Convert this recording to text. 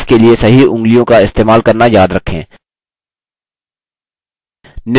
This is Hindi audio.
कीज के लिए सही उँगलियों का इस्तेमाल करना याद रखें